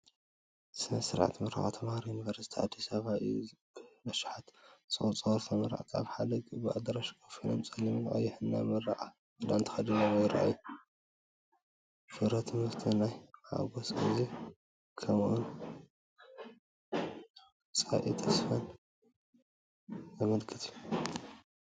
ስነ-ስርዓት ምረቓ ተምሃሮ ዩኒቨርስቲ ኣዲስ ኣበባ እዩ። ብኣሽሓት ዝቑጸሩ ተመረቕቲ ኣብ ሓደ ዓቢ ኣዳራሽ ኮፍ ኢሎም ጸሊምን ቀይሕን ናይ ምረቓ ክዳን ተኸዲኖም ይረኣዩ። ፍረ ትምህርቲ፡ ናይ ሓጎስ ግዜ፡ ከምኡ’ውን ንመጻኢ ተስፋን ተስፋን ዘመልክት እዩ።